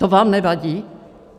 To vám nevadí?